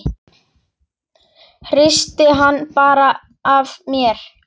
Hristi hann bara af mér.